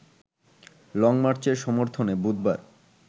লংমার্চের সমর্থনে বুধবার